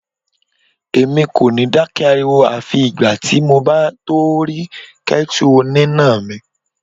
Èmi kò ní dákẹ́ ariwo àfi ìgbà tí mo bá tó rí kẹ́tù oníná mi.